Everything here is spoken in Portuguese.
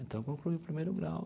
Então, concluiu o primeiro grau.